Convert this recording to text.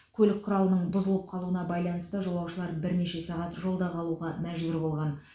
көлік құралының бұзылып қалуына байланысты жолаушылар бірнеше сағат жолда қалуға мәжбүр болған